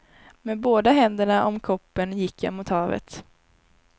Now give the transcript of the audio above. Med båda händerna om koppen gick jag mot havet.